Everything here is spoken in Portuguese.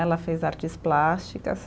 Ela fez artes plásticas.